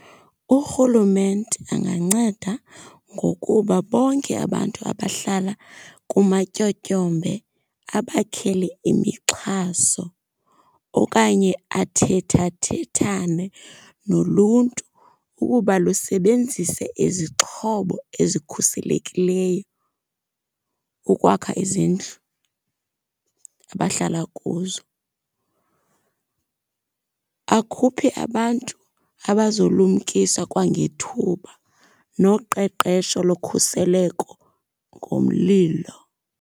Urhulumente anganceda ngokuba bonke abantu abahlala kumatyotyombe abakhele imixhaso. Okanye athethathethane noluntu ukuba lusebenzise izixhobo ezikhuselekileyo ukwakha izindlu abahlala kuzo. Akhuphe abantu abazolumkisa kwangethuba noqeqesho lokhuseleko ngomlilo.